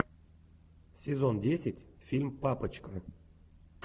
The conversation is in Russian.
сезон десять фильм папочка